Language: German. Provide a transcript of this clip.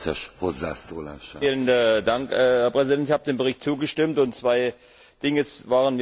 Herr Präsident! Ich habe dem Bericht zugestimmt, und zwei Dinge waren mir bei dem Bericht besonders wichtig.